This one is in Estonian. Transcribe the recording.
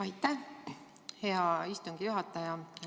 Aitäh, hea istungi juhataja!